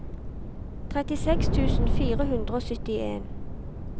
trettiseks tusen fire hundre og syttien